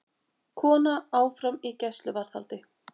Kona áfram í gæsluvarðhaldi